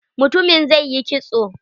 Mutumin zai yi kitso.